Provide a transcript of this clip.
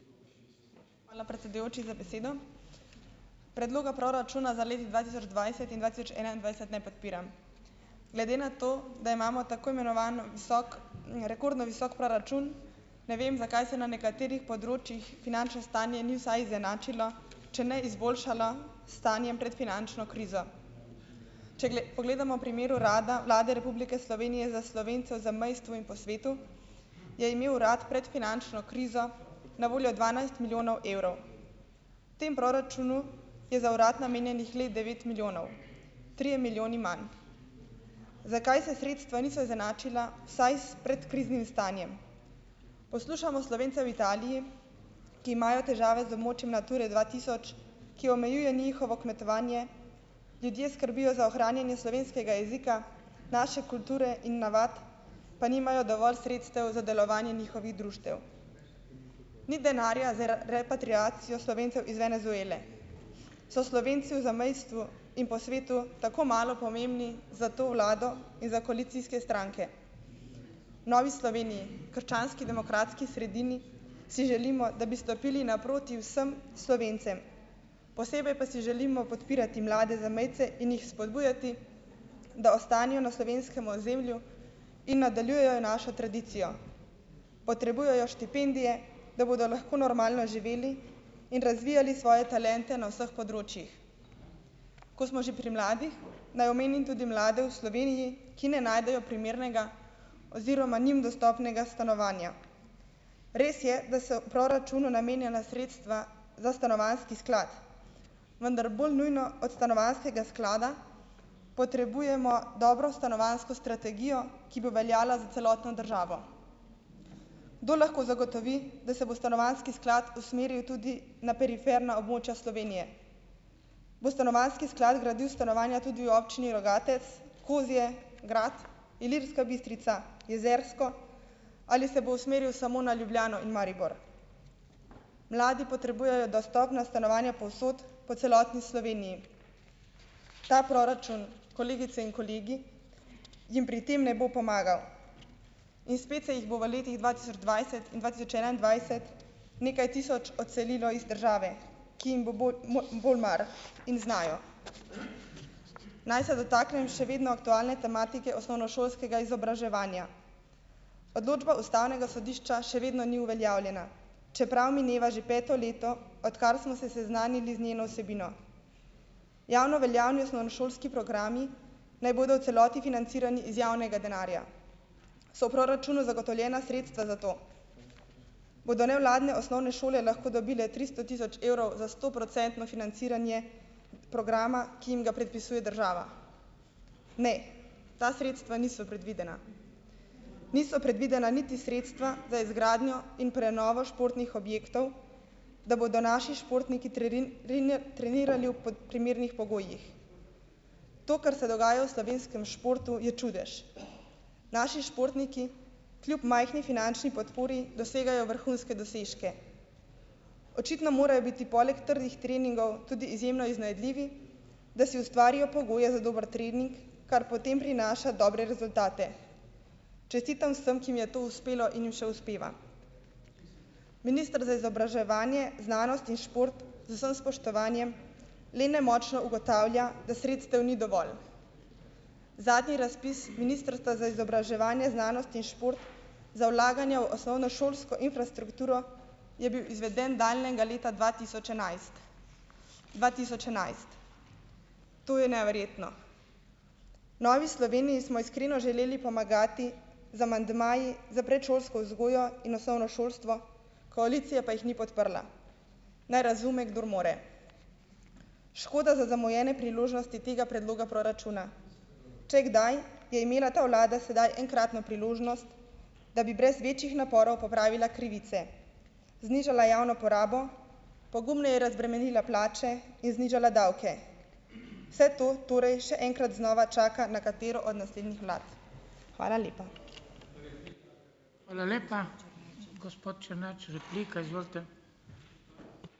Hvala, predsedujoči, za besedo. Predloga proračuna za leto dva tisoč dvajset in dva tisoč enaindvajset ne podpiram. Glede na to, da imamo tako imenovani visok, rekordno visok proračun, ne vem, zakaj se na nekaterih področjih finančno stanje ni vsaj izenačilo, če ne izboljšalo s stanjem pred finančno krizo. Če pogledamo primer Urada Vlade Republike Slovenije za Slovence v zamejstvu in po svetu, je imel urad pred finančno krizo na voljo dvanajst milijonov evrov. V tem proračunu je za urad namenjenih le devet milijonov. Trije milijoni manj. Zakaj se sredstva niso izenačila vsaj s predkriznim stanjem? Poslušamo Slovence v Italiji, ki imajo težave z območjem Nature dva tisoč, ki omejuje njihovo kmetovanje, ljudje skrbijo za ohranjanje slovenskega jezika, naše kulture in navad, pa nimajo dovolj sredstev za delovanje njihovih društev. Ni denarja z repatriacijo Slovencev iz Venezuele. So Slovenci v zamejstvu in po svetu tako malo pomembni za to vlado in za koalicijske stranke? V Novi Sloveniji, Krščanski demokratski sredini si želimo, da bi stopili naproti vsem Slovencem. Posebej pa si želimo podpirati mlade zamejce in jih spodbujati, da ostanejo na slovenskem ozemlju in nadaljujejo našo tradicijo. Potrebujejo štipendije, da bodo lahko normalno živeli in razvijali svoje talente na vseh področjih. Ko smo že pri mladih, naj omenim tudi mlade v Sloveniji, ki ne najdejo primernega oziroma njim dostopnega stanovanja. Res je, da se v proračunu namenjena sredstva za stanovanjski sklad, vendar bolj nujno od stanovanjskega sklada potrebujemo dobro stanovanjsko strategijo, ki bo veljala za celotno državo. Kdo lahko zagotovi, da se bo stanovanjski sklad usmeril tudi na periferna območja Slovenije? Bo stanovanjski sklad gradil stanovanja tudi v občini Rogatec, Kozje, Grad, Ilirska Bistrica, Jezersko? Ali se bo usmeril samo na Ljubljano in Maribor? Mladi potrebujejo dostopna stanovanja povsod po celotni Sloveniji. Ta proračun, kolegice in kolegi, jim pri tem ne bo pomagal. In spet se jih bo v letih dva tisoč dvajset in dva tisoč enaindvajset nekaj tisoč odselilo iz države, ki jim bo bolj mar in znajo. Naj se dotaknem še vedno aktualne tematike osnovnošolskega izobraževanja. Odločba ustavnega sodišča še vedno ni uveljavljena, čeprav mineva že peto leto odkar smo se seznanili z njeno vsebino. Javno veljavni osnovnošolski programi naj bodo v celoti financirani iz javnega denarja. So v proračunu zagotovljena sredstva za to? Bodo nevladne osnovne šole lahko dobile tristo tisoč evrov za stoprocentno financiranje programa, ki jim ga predpisuje država? Ne, ta sredstva niso predvidena. Niso predvidena niti sredstva za izgradnjo in prenovo športnih objektov, da bodo naši športniki trenirali v v primernih pogojih. To, kar se dogaja v slovenskem športu, je čudež. Naši športniki, kljub majhni finančni podpori, dosegajo vrhunske dosežke. Očitno morajo biti, poleg trdih treningov, tudi izjemno iznajdljivi, da si ustvarijo pogoje za dober trening, kar potem prinaša dobre rezultate. Čestitam vsem, ki jim je to uspelo in jim še uspeva. Minister za izobraževanje, znanost in šport, z vsem spoštovanjem, le nemočno ugotavlja, da sredstev ni dovolj. Zadnji razpis Ministrstva za izobraževanje, znanost in šport za vlaganja v osnovnošolsko infrastrukturo je bil izveden daljnega leta dva tisoč enajst. Dva tisoč enajst. To je neverjetno. V Novi Sloveniji smo iskreno želeli pomagati z amandmaji, s predšolsko vzgojo in osnovno šolstvo, koalicija pa jih ni podprla. Naj razume, kdor more. Škoda za zamujene priložnosti tega predloga proračuna. Če kdaj, je imela ta vlada sedaj enkratno priložnost, da bi brez večjih naporov popravila krivice, znižala javno porabo, pogumneje razbremenila plače in znižala davke. Vse to torej še enkrat znova čaka na katero od naslednjih vlad. Hvala lepa.